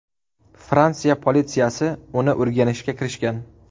Fransiya politsiyasi uni o‘rganishga kirishgan.